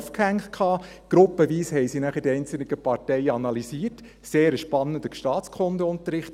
Dann haben sie gruppenweise die einzelnen Parteien analysiert – ein sehr spannender Staatskundeunterricht.